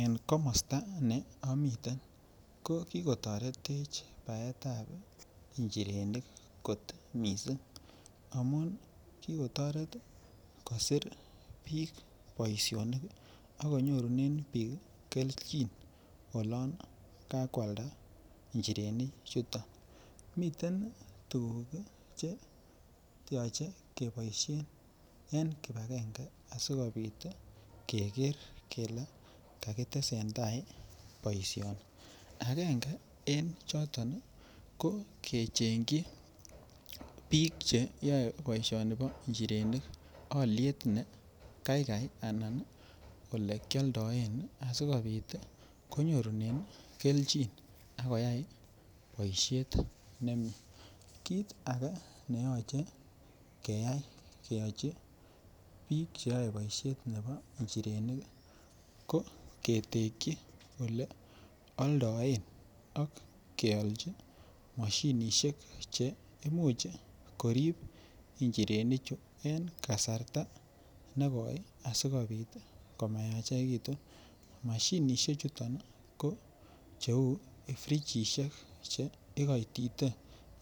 En komosto ne omiten ko kikotoretech baetab inchirenik kot missing amun kikotoret kosir bik boishonik kii an konyorunen bik kii keljin olon kakwalda inchirenik chuton. Miten tukuk kii cheyoche keboishen en kipagenge asikopit tii Keker kele kakitesentai boishoni agenge en choton nii ko kechengi bik cheyoe boishoni bo inchirenik oliet ne Kai Kai ana ni olekiodoen sikopit konyorunen keljin ak koyai boishet nemie. Kit age neyoche keyai keyochi bik cheyoe boishet nebo nchirenik ko ketekin ole oldoen ak keolchi moshinishek che imuch korib inchirenik chuu en kasarta nekoe asikopit tii komayachekitu. Moshinishek chuton nii ko cheu frigishek che ikoitite